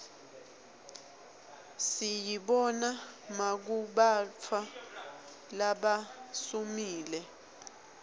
siyibona makubantfu labasuumile